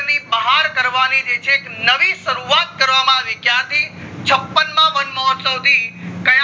બહાર કરવાની જે છે નવી શરૂવાત કરવામાં આવી ક્યાંથી છપ્પન માં વનમહોત્સવ થી ક્યાં